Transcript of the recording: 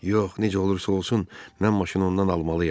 Yox, necə olursa olsun, mən maşını ondan almalıyam.